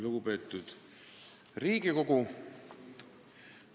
Lugupeetud Riigikogu!